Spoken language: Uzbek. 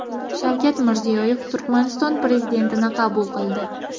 Shavkat Mirziyoyev Turkmaniston prezidentini qabul qildi.